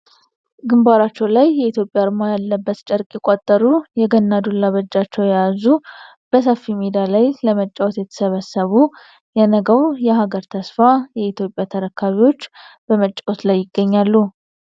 ግንባራቸው ላይ በኢትዮጵያ አርማ ያለበት ጨርቅ የቋጠሩ ፤ የገና ዱላ በእጃቸው የያዙ ፤ በሰፊ ሜዳ ላይ ለመጫወት የተሰበሰቡ ፤ የነገው የሀገር ተስፋ የኢትዮጵያ ተረካቢዎች በመጫወት ላይ ይገኛሉ ።